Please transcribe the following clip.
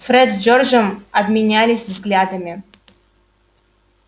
фред с джорджем обменялись взглядами